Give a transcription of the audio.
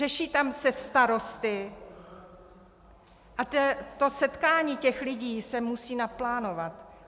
Řeší tam se starosty a to setkání těch lidí se musí naplánovat.